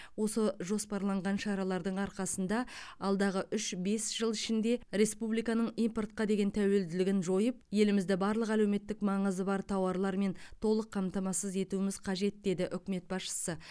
осы жоспарланған шаралардың арқасында алдағы үш бес жыл ішінде республиканың импортқа деген тәуелділігін жойып елімізді барлық әлеуметтік маңызы бар тауарлармен толық қамтамасыз етуіміз қажет деді үкімет басшысы